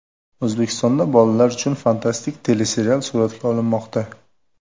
O‘zbekistonda bolalar uchun fantastik teleserial suratga olinmoqda.